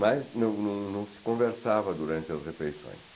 Mas não não se conversava durante as refeições.